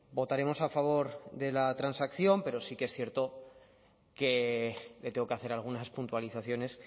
votaremos a favor de la transacción pero sí que es cierto que le tengo que hacer algunas puntualizaciones